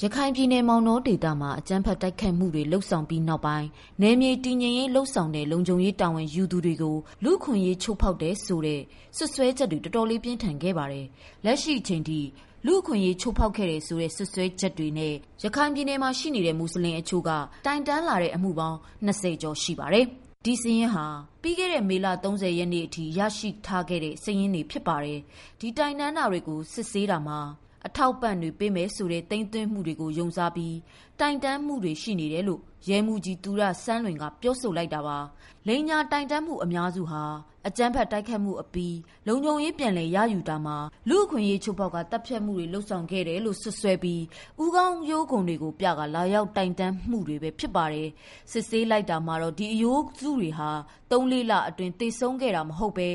ရခိုင်ပြည်နယ်မောင်တောမှာ အကြမ်းဖက်တိုက်ခိုက်မှုတွေ လုပ်ဆောင်ပြီးနောက်ပိုင်း နယ်မြေတည်ငြိမ်ရေး လုပ်ဆောင်တဲ့လုံခြုံ ရေး တာဝန်ယူသူတွေကို လူ့အခွင့်အရေး ချိုးဖောက်တယ်ဆိုတဲ့ စွပ်စွဲမှုတွေ တော်တော်လေးပြင်းထန်ခဲ့ပါတယ်။ လက်ရှိအချိန်ထိ လူ့အခွင့်အရေး ချိုးဖောက်ခဲ့တယ်ဆိုတဲ့ စွပ်စွဲချက်တွေနဲ့ ရခိုင်ပြည်နယ်မှာ ရှိနေတဲ့ မူဆလင်အချို့က တိုင်တန်းလာတဲ့ အမှု ၂၀ကျော် ရှိနေပါတယ်။ ဒီစာရင်းဟာ ပြီးခဲ့တဲ့ မေလ ၃၀ရက်နေ့ထိ ရရှိထားတဲ့ စာရင်းဘဲဖြစ်ပါတယ်။ ဒီတိုင်တန်းထားတာတွေကို စစ်ဆေးတာမှာ အထောက်အပံ့တွေပေးမယ်ဆိုတဲ့ သိမ်းသွင်းထားမှုကို ယုံစားပြီး တိုင်တန်းမှုတွေရှိတယ်လို့ ရဲမှူးကြီး သူရစန်းလွင်က ပြောဆိုလိုက်တာပါ။ လိမ်ညာတိုင်တန်းမှုအများစုဟာ အကြမ်းဖက်တိုက်ခိုက်မှုအပြီး လုံခြုံရေးပြန်လည် ရယူတာမှာ လူ့အခွင့်အရေးချိုးဖောက်ခါ သတ်ဖြတ်မှုတွေ လုပ်ဆောင်ခဲ့တယ်လို့ စွပ်စွဲပြီး ဦးခေါင်းရိုးခွံတွေကို ပြကာ လာရောက်တိုင်တန်းမှုတွေပဲဖြစ်ပါတယ်။ စစ်ဆေးလိုက်တာ မှာတော့ ဒီအရိုးစုတွေဟာ ၃၊ ၄ လအတွင်း သေဆုံးခဲ့တာမဟုတ်ပဲ